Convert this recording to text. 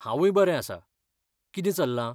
हांवूय बरें आसा. कितें चल्लां?